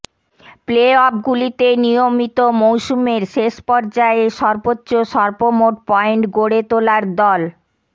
প্লেঅফগুলিতে নিয়মিত মৌসুমের শেষ পর্যায়ে সর্বোচ্চ সর্বমোট পয়েন্ট গড়ে তোলার দল